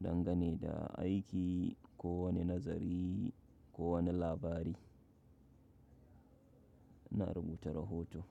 Dangane da aiki ko wane nazari, ko wane labari na rubuta rahoton.